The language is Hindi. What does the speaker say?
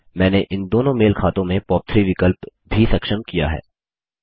मैंने इन दोनों मेल खातों में पॉप3 विकल्प भी सक्षम किया है